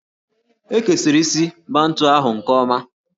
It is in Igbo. E kesiri isi Bantu ahụ nke ọma